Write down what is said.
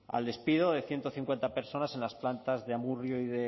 al despido de ciento cincuenta personas en las plantas de amurrio